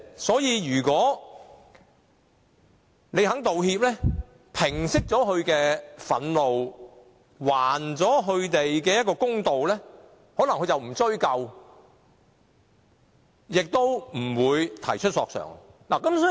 所以，如果對方願意道歉，平息他的憤怒，還他一個公道，他可能便不會追究，亦不會提出索償。